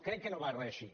crec que no va reeixir